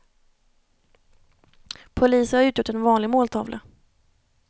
Poliser har utgjort en vanlig måltavla.